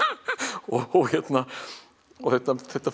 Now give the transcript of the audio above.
og og þetta þetta